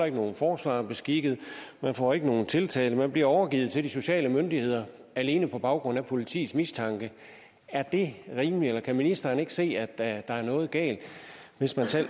ikke nogen forsvarer beskikket man får ikke nogen tiltale men man bliver overgivet til de sociale myndigheder alene på baggrund af politiets mistanke er det rimeligt eller kan ministeren ikke se at der er noget galt hvis man selv